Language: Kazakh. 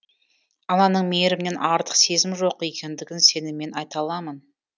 ананың мейірімінен артық сезім жоқ екендігін сеніммен айта аламын